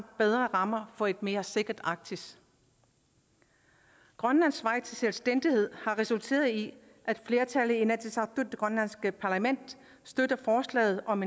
bedre rammer for et mere sikkert arktis grønlands vej til selvstændighed har resulteret i at flertallet i inatsisartut det grønlandske parlament støtter forslaget om